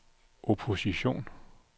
opposition